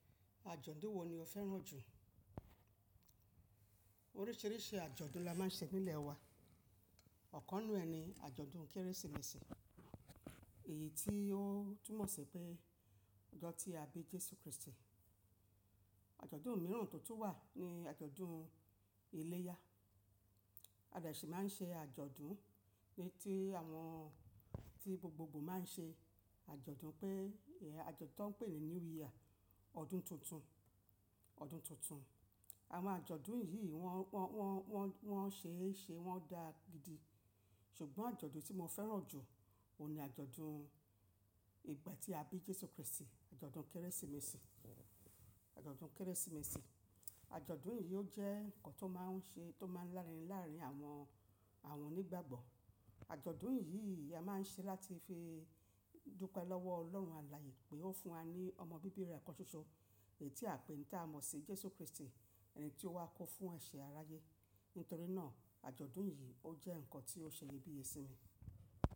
Àjọ̀dún wo ni o fẹ́ràn jù? Oríṣíríṣì àjọ̀dún la máa ń ṣe nílẹ̀ wa. Ọ̀kann inu e ni àjọ̀dún Kérésìmesì, èyí tí ó túmọ̀ sí pé ọjọ́ tí a bí Jésù Krístì. Àjọ̀dún mìràn tó tún wà ni àjọ̀dún iléyá. A de sì máa ń ṣe àjọ̀dún ní tí àwọn tí gbogbogbò máa ń ṣe àjọ̀dún pé àjọ̀dún tó pè ní New Year, ọdún tuntun, ọdún tuntun. Àwọn àjọ̀dún yì wọ́n, wọ́n, wọ́n, wọ́n ṣe é ṣe, wọ́n da gidi. Ṣùgbọ́n àjọ̀dún tí mo fẹ́ràn jù ó ni àjọ̀dún ìgbà tí a bí Jésù Krístì, àjọ̀dún Kérésìmesì, àjọ̀dún Kérésìmesì. Àjọ̀dún yì ó jẹ́ ǹkan tó máa ń ṣe, tó máa ń lárin lárín àwọn, àwọn onígbàgbọ́. Àjọ̀dún yì ni a máa ń ṣe láti fi dúpẹ́ lọ́wọ́ Ọlọ́run Àláyé pé ó fún wa ní ọmọ bíbí rẹ̀ kán ṣoṣo, tí a pè ní tá mọ̀ sí Jésù Krístì, ẹni tí ó wá kó fún ẹ ṣe aráyé. Nítorí náà àjọ̀dún yì ó jẹ́ nǹkan tí ó ṣe iyebiye sí mi.